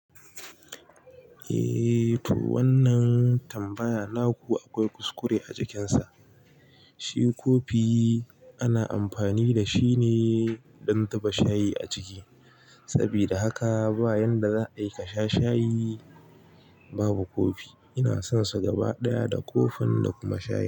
Eh to wannan tambaya naku akwai kuskure a cikinsa. Shi kofi ana amfani da shi ne don duba shayi a ciki. Sabida haka bayan da za'a yi ka shs shayi, babu kofi, ina son su gaba ɗaya da kofin da kuma shayi.